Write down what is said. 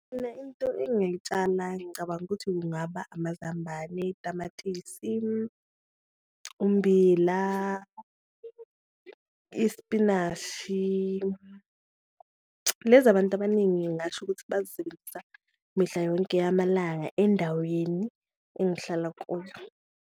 Mina into engayitshala ngicabanga ukuthi kungaba amazambane, tamatisi, ummbila, isipinashi, lezi abantu abaningi ngingasho ukuthi bazisebenzisa mihla yonke yamalanga endaweni engihlala kuyo.